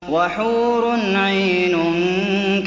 وَحُورٌ عِينٌ